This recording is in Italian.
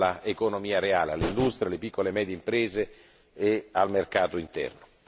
all'economia reale, all'industria, alle piccole e medie imprese e al mercato interno.